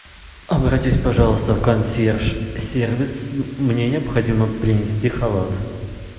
обратись пожалуйста в консьерж сервис мне необходимо принести халат